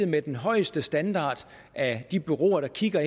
med den højeste standard af de bureauer der kigger